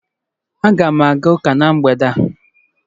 Aga m aga ụka na mgbede a